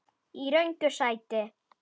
Í röngu sæti.